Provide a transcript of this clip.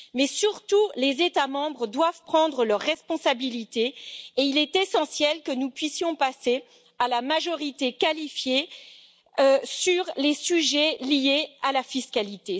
Mais, surtout, les États membres doivent prendre leurs responsabilités et il est essentiel que nous puissions passer à la majorité qualifiée sur les sujets liés à la fiscalité.